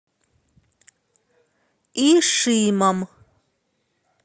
ишимом